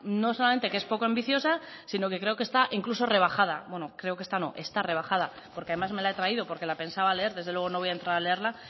no solamente que es poco ambiciosa sino que creo que está incluso rebajada bueno creo que está no está rebajada porque además me la he traído porque la pensaba leer desde luego no voy a entrar a leerla